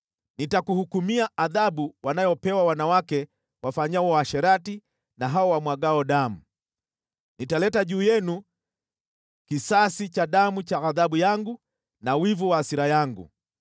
Nitakuhukumia adhabu wanayopewa wanawake wafanyao uasherati na hao wamwagao damu, nitaleta juu yenu kisasi cha damu cha ghadhabu yangu na wivu wa hasira yangu.